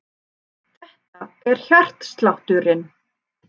Þetta er hjartslátturinn.